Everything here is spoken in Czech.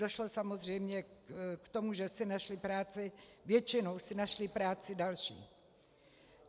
Došlo samozřejmě k tomu, že si našli práci, většinou si našli práci další.